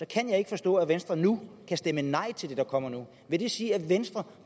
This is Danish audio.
kan jeg ikke forstå at venstre nu kan stemme nej til det der kommer nu vil det sige at venstre